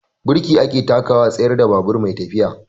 Birki ake takawa a tsayar da babur mai tafiya.